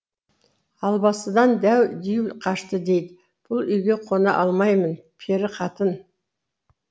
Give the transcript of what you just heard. албастыдан дәу дию қашты дейді бұл үйге қона алмаймын пері қатын